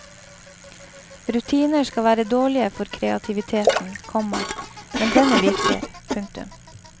Rutiner skal være dårlige for kreativiteten, komma men denne virker. punktum